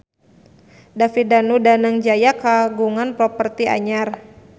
David Danu Danangjaya kagungan properti anyar